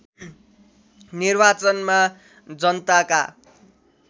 निर्वाचनमा जनताका